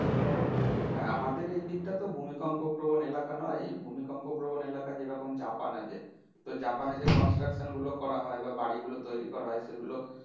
হ্যাঁ আমাদের এই দিকটা তো ভূমিকম্প প্রবণ এলাকা নয় ভূমিকম্প প্রবন এলাকা যেরকম জাপান আছে তো জাপানে যে construction গুলো করা হয় বা বাড়ি গুলো তৈরী করা হয় সেগুলো